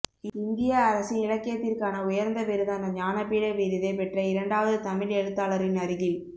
இந்திய அரசின் இலக்கியத்திற்கான உயர்ந்த விருதான ஞான பீட விருதைப் பெற்ற இரண்டாவது தமிழ் எழுத்தாளரின் அருகில்